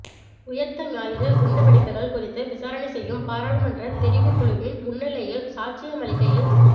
உயிர்த்தஞாயிறு குண்டுவெடிப்புகள் குறித்து விசாரணை செய்யும் பாராளுமன்ற தெரிவுக்குழுவின் முன்னிலையில் சாட்சியமளிக்கையில்